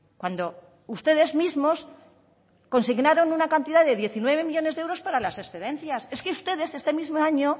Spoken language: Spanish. cuando ustedes mismos consignaron una cantidad de diecinueve millónes de euros para las excedencias es que ustedes este mismo año